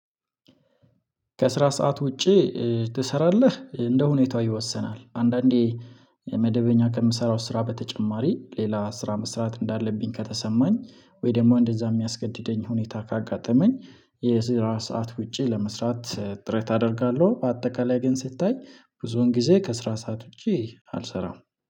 ከስራ ሰዓት ውጪ እ ትሰራለህ እንደ ሁኔታው ይወሰናል አንዳንዴ መደበኛ ከምሰራው ስራ በተጨማሪ ሌላ ስራ መስራት እንዳለብኝ ከተሰማኝ ወይ ደግሞ እንደዛ የሚያስገድደኝ ሁኔታ ካጋጠመኝ የስራ ሰዓት ውጪ ለመስራት እ ጥረት አደርጋለሁ። በአጠቃላይ ግን ስታይ ብዙውን ጊዜ ከስራ ሰዓት ውጪ አልሰራም